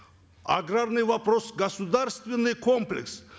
аграрный вопрос государственный комплекс